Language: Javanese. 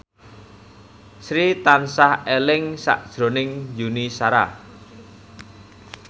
Sri tansah eling sakjroning Yuni Shara